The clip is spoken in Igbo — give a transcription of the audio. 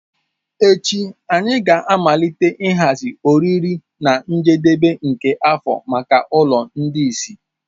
Echi anyị ga-amalite ịhazi oriri na njedebe nke afọ maka ụlọ ndị ìsì.